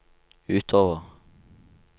utover